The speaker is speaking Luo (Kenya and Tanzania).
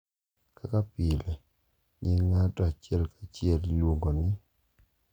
Kaka pile, nying ng’ato achiel achiel iluongo ni,